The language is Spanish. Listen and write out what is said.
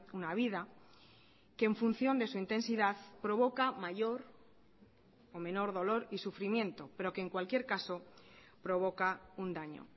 una vida que en función de su intensidad provoca mayor o menor dolor y sufrimiento pero que en cualquier caso provoca un daño